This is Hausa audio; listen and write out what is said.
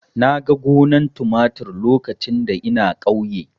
Na ga gonar tumatir lokacin da ina ƙauye.